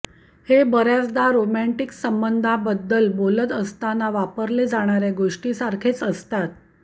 हे बर्याचदा रोमँटिक संबंधांबद्दल बोलत असताना वापरले जाणाऱ्या गोष्टीसारखेच असतात